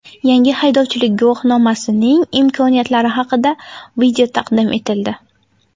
Yangi haydovchilik guvohnomasining imkoniyatlari haqida video taqdim etildi.